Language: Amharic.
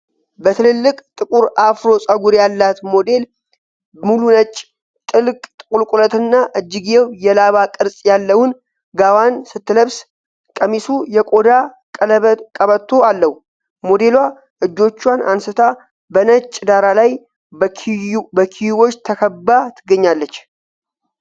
በትልልቅ ጥቁር አፍሮ ጸጉር ያላት ሞዴል ሙሉ ነጭ፣ ጥልቅ ቁልቁለትና እጅጌው የላባ ቅርጽ ያለውን ጋዋን ስትለብስ ። ቀሚሱ የቆዳ ቀበቶ አለው። ሞዴሏ እጆቿን አንስታ በነጭ ዳራ ላይ በኪዩቦች ተከብባ ትገኛለች።